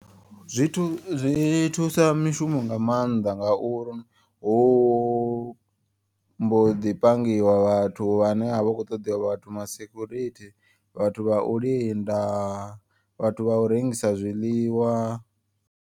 Zwithu zwi thusa mishumo nga maanḓa ngauri hu mbo ḓi pangiwa vhathu. Vhane a vha khou ṱoḓiwa vhathu ma security vhathu vha u linda vhathu vha u rengisa zwiḽiwa.